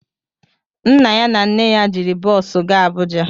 Nna ya na nne ya jiri bọosu gaa Abuja